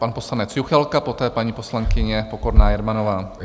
Pan poslanec Juchelka, poté paní poslankyně Pokorná Jermanová.